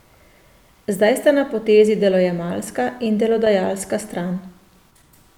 Zdaj sta na potezi delojemalska in delodajalska stran.